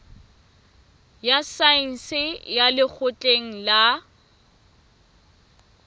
ya saense ya lekgotleng la